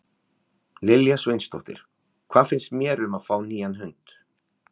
Lilja Sveinsdóttir: Hvað finnst mér um að fá nýjan hund?